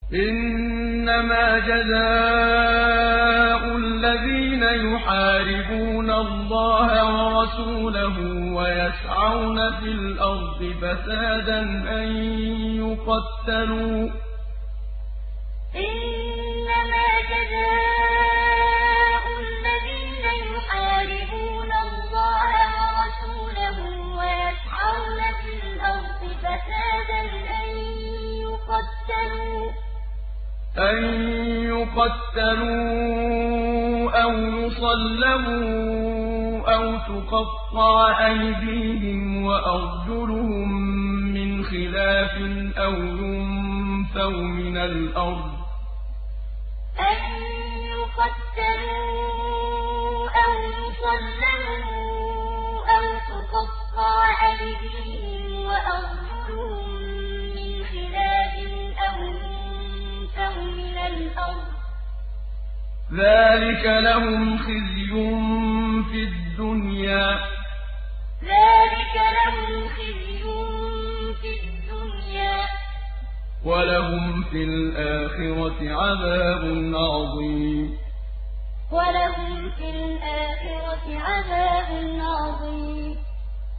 إِنَّمَا جَزَاءُ الَّذِينَ يُحَارِبُونَ اللَّهَ وَرَسُولَهُ وَيَسْعَوْنَ فِي الْأَرْضِ فَسَادًا أَن يُقَتَّلُوا أَوْ يُصَلَّبُوا أَوْ تُقَطَّعَ أَيْدِيهِمْ وَأَرْجُلُهُم مِّنْ خِلَافٍ أَوْ يُنفَوْا مِنَ الْأَرْضِ ۚ ذَٰلِكَ لَهُمْ خِزْيٌ فِي الدُّنْيَا ۖ وَلَهُمْ فِي الْآخِرَةِ عَذَابٌ عَظِيمٌ إِنَّمَا جَزَاءُ الَّذِينَ يُحَارِبُونَ اللَّهَ وَرَسُولَهُ وَيَسْعَوْنَ فِي الْأَرْضِ فَسَادًا أَن يُقَتَّلُوا أَوْ يُصَلَّبُوا أَوْ تُقَطَّعَ أَيْدِيهِمْ وَأَرْجُلُهُم مِّنْ خِلَافٍ أَوْ يُنفَوْا مِنَ الْأَرْضِ ۚ ذَٰلِكَ لَهُمْ خِزْيٌ فِي الدُّنْيَا ۖ وَلَهُمْ فِي الْآخِرَةِ عَذَابٌ عَظِيمٌ